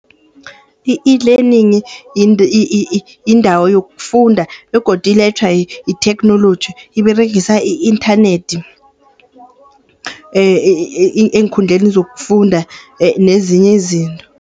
I-eLearning yindawo yokufunda begodu ilethwa yitheknoloji. Iberegisa i-inthanethi eenkhundleni zokufunda nezinye izinto.